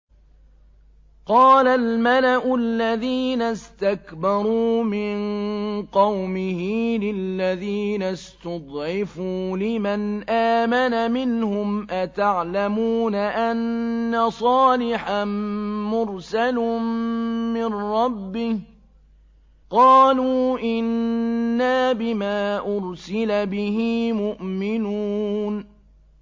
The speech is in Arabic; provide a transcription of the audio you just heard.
قَالَ الْمَلَأُ الَّذِينَ اسْتَكْبَرُوا مِن قَوْمِهِ لِلَّذِينَ اسْتُضْعِفُوا لِمَنْ آمَنَ مِنْهُمْ أَتَعْلَمُونَ أَنَّ صَالِحًا مُّرْسَلٌ مِّن رَّبِّهِ ۚ قَالُوا إِنَّا بِمَا أُرْسِلَ بِهِ مُؤْمِنُونَ